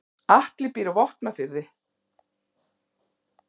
Atli býr á Vopnafirði.